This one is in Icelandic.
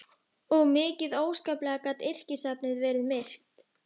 Og mikið óskaplega gat yrkisefnið verið myrkt.